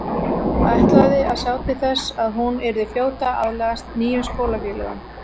Ætlaði að sjá til þess að hún yrði fljót að aðlagast nýjum skólafélögum.